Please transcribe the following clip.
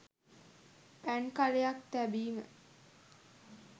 පැන් කළයක් තැබීම